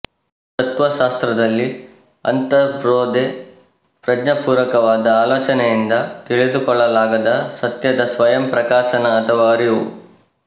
ತತ್ತ್ವಶಾಸ್ತ್ರದಲ್ಲಿ ಅಂತರ್ಬೋಧೆ ಪ್ರಜ್ಞಾಪೂರ್ವಕವಾದ ಆಲೋಚನೆಯಿಂದ ತಿಳಿದುಕೊಳ್ಳಲಾಗದ ಸತ್ಯದ ಸ್ವಯಂ ಪ್ರಕಾಶನ ಅಥವಾ ಅರಿವು